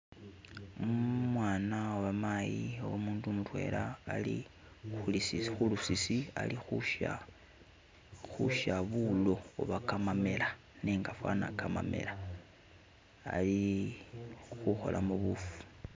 Umwana, oba mayi oba umundu mutwela ali khu'lusisi ali khu'sya bulo oba kamamela nenga fana kamamela ali khu'kholamo bufu.